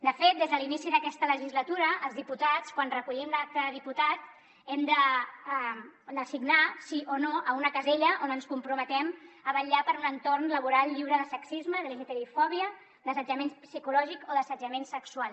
de fet des de l’inici d’aquesta legislatura els diputats quan recollim l’acta de diputat hem de de signar sí o no a una casella on ens comprometem a vetllar per un entorn laboral lliure de sexisme d’lgtbi fòbia d’assetjament psicològic o d’assetjament sexual